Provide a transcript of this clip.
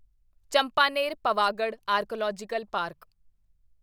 Champaner Pavagadh archaeological park